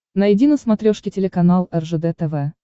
найди на смотрешке телеканал ржд тв